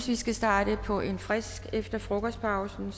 vi skal starte på en frisk efter frokostpausen